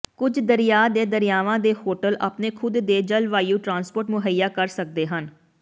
ਕੁਝ ਦਰਿਆ ਦੇ ਦਰਿਆਵਾਂ ਦੇ ਹੋਟਲ ਆਪਣੇ ਖੁਦ ਦੇ ਜਲਵਾਯੂ ਟਰਾਂਸਪੋਰਟ ਮੁਹੱਈਆ ਕਰ ਸਕਦੇ ਹਨ